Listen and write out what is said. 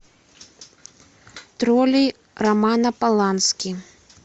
тролли романа полански